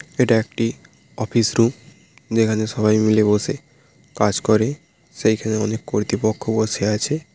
এটা একটি office room যেখানে সবাই মিলে বসে কাজ করে সেইখানে অনেক কর্তৃপক্ষ বসে আছে।